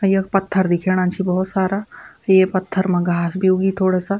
अर यख पत्थर दिखेणा छि भौत सारा ये पत्थर मा घास भी उगी थोड़ा सा।